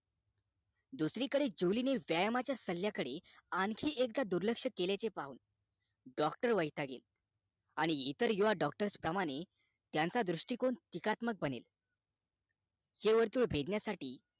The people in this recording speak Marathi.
दुसरी कडे जुली ने व्यायामाच्या सल्ल्या कडे आणखी एकदा दुर्लक्ष्य केल्याचे पाहून doctor वैतागे आणि इतर युवा doctor प्रमाणे त्यांचा दृष्टीकोन टीकात्मक बने हे वर्तुळ भेदण्यासाठी `